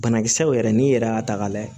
Banakisɛw yɛrɛ n'i yɛrɛ y'a ta k'a lajɛ